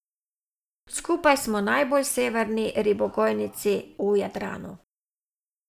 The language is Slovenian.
Skupaj smo najbolj severni ribogojnici v Jadranu.